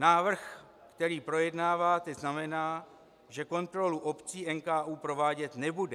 Návrh, který projednáváte, znamená, že kontrolu obcí NKÚ provádět nebude.